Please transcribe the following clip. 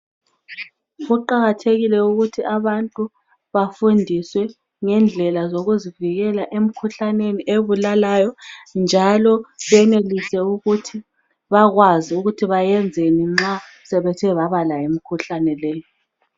Kuqakathekile ukuthi abantu bafundiswe ngendlela zokuzivikela emikhuhlaneni ebulalayo njalo benelise ukuthi bakwazi ukuthi beyenzeni nxa sebethe babalayo imikhuhlane leyi.